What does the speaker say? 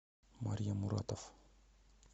марья муратов